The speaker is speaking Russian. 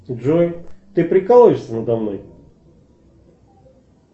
джой ты прикалываешься надо мной